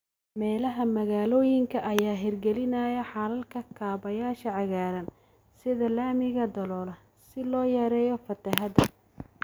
Meelaha magaalooyinka ayaa hirgelinaya xalalka kaabayaasha cagaaran, sida laamiyada daloola, si loo yareeyo fatahaada.